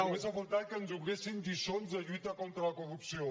només ha faltat que ens donessin lliçons de lluita contra la corrupció